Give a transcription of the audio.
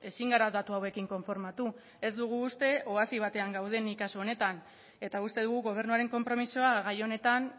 ezin gara datu hauekin konformatu ez dugu uste oasi batean gaudenik kasu honetan eta uste dugu gobernuaren konpromisoa gai honetan